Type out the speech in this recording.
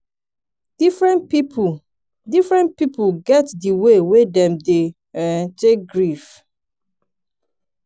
differen pipu differen pipu get di way wey dem dey um take grief.